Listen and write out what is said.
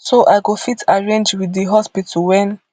so i go fit arrange wit di hospital wen